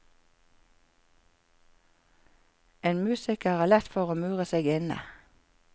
En musiker har lett for å mure seg inne.